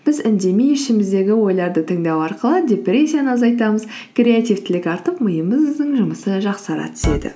біз үндемей ішіміздегі ойларды тыңдау арқылы депрессияны азайтамыз креативтілік артып миымыздың жұмысы жақсара түседі